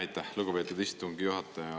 Aitäh, lugupeetud istungi juhataja!